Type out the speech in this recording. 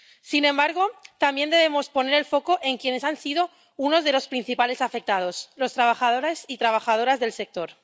Sin embargo, también debemos poner el foco en quienes han sido unos de los principales afectados los trabajadores y trabajadoras del sector.